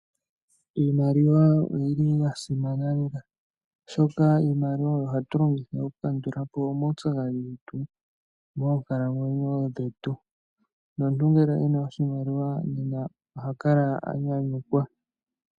Iimaliwa oyi li ya simana lela, oshoka iimaliwa oyo hatu longitha okukandula po omaupyakadhi getu moonkalamwenyo dhetu nomuntu ngele oku na oshimaliwa oha kala a nyanyukwa.